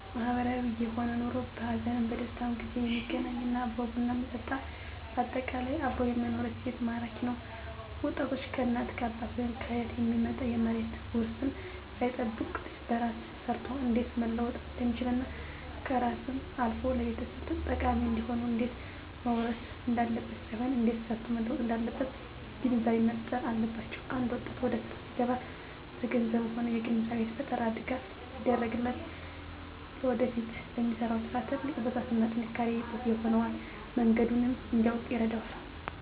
ማህበራዊ የሆነ ኑሮ በሀዘንም በደስታም ጊዜ የሚገናኝ እና አብሮ ቡና የሚጠጣ በአጠቃላይ አብሮ የመኖር እሴት ማራኪ ነዉ ወጣቶች ከእናት ከአባት ወይም ከአያት የሚመጣ የመሬት ዉርስን ሳይጠብቅ በራሱ ሰርቶ እንዴት መለወጥ እንደሚችልና ከራሱም አልፎ ለቤተሰብ ጠቃሚ እንዲሆን እንዴት መዉረስ እንዳለበት ሳይሆን እንዴት ሰርቶ መለወጥ እንዳለበት ግንዛቤ መፋጠር አለባቸዉ አንድ ወጣት ወደስራ ሲገባ በገንዘብም ሆነ የግንዛቤ ፈጠራ ድጋፍ ቢደረግለት ለወደፊቱ ለሚሰራዉ ስራ ትልቅ ብርታትና ጥንካሬ ይሆነዋል መንገዱንም እንዲያዉቅ ይረዳዋል